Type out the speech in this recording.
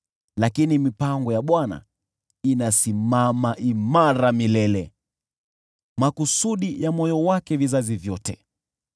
Lakini mipango ya Bwana inasimama imara milele, makusudi ya moyo wake kwa vizazi vyote.